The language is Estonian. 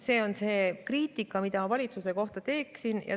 See on see kriitika, mida ma valitsuse kohta teeksin.